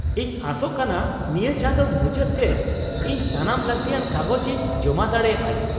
ᱤᱧ ᱟᱥᱚᱜ ᱠᱟᱱᱟ ᱱᱤᱭᱟᱹ ᱪᱟᱫᱳ ᱢᱩᱪᱟᱹᱫ ᱥᱮᱪ ᱤᱧ ᱥᱟᱱᱟᱢ ᱞᱟᱹᱠᱛᱤᱭᱟᱱ ᱠᱟᱜᱚᱡᱽ ᱤᱧ ᱡᱚᱢᱟ ᱫᱟᱲᱮᱭᱟᱜ ᱟᱹᱧ ᱾